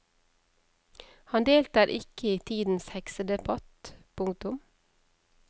Han deltar ikke i tidens heksedebatt. punktum